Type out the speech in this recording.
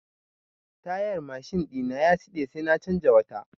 Tayar mashin ɗina ya siɗe sai na canza wata.